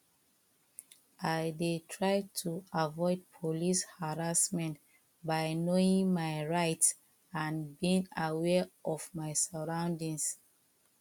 i dey try to avoid police harassment by knowing my rights and being aware of my surroundings